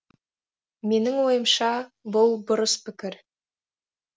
менің ойымша бұл бұрыс пікір